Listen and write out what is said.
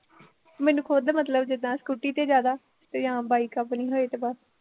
ਮੈਨੂੰ ਖੁਦ ਮਤਲਬ ਜਿਦਾਂ scooter ਤੇ ਜਿਆਦਾ, ਜਾਂ bike ਆਪਨੀ ਹੋਏ ਤੇ ਬਸ